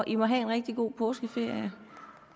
i må have en rigtig god påskeferie